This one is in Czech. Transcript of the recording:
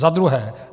Za druhé.